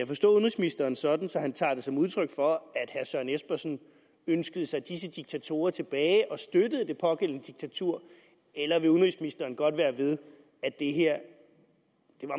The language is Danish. forstå udenrigsministeren sådan at han tager det som udtryk for at herre søren espersen ønskede sig disse diktatorer tilbage og støttede det pågældende diktatur eller vil udenrigsministeren godt være ved at det her